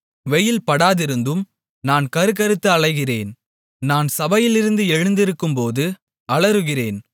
வெயில் படாதிருந்தும் நான் கறுகறுத்து அலைகிறேன் நான் சபையிலிருந்து எழுந்திருக்கும்போது அலறுகிறேன்